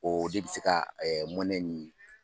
O de bɛ se ka mɔnɛ ni